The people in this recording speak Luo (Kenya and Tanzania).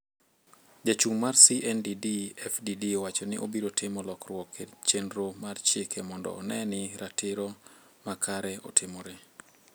Jachung' mar CNDD FDD owacho ni obiro timo lokruok e chenro mar chike mondo one ni ratiro makare otimre